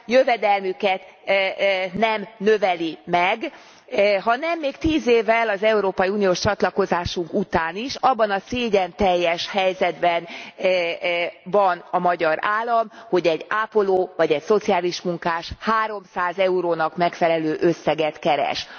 jövedelmüket nem növeli meg, hanem még tíz évvel az európai uniós csatlakozásunk után is abban a szégyenteljes helyzetben van a magyar állam, hogy egy ápoló, vagy egy szociális munkás 300 eurónak megfelelő összeget keres.